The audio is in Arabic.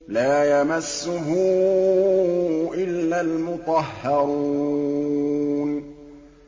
لَّا يَمَسُّهُ إِلَّا الْمُطَهَّرُونَ